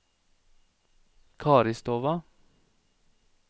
Karistova